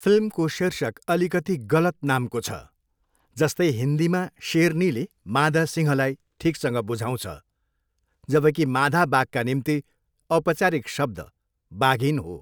फिल्मको शीर्षक अलिकति गलत नामको छ, जस्तै हिन्दीमा शेरनीले मादा सिँहलाई ठिकसँग बुझाउँछ, जबकि मादा बाघका निम्ति औपचारिक शब्द बाघिन हो।